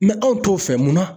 anw t'o fɛ mun na